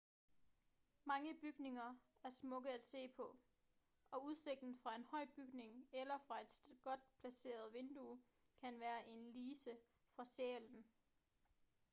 mange bygninger er smukke at se på og udsigten fra en høj bygning eller fra et godt placeret vindue kan være en lise for sjælen